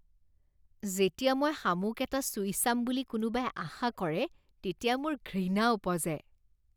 যেতিয়া মই শামুক এটা চুই চাম বুলি কোনোবাই আশা কৰে, তেতিয়া মোৰ ঘৃণা ওপজে।